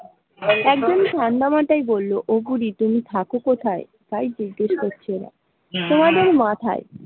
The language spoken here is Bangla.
একজন ঠাণ্ডা মাথায় বলল ও বুড়ি তুমি থাকো কোথায় তাই জিজ্ঞাসা করছে। তোমাদের মাথায়।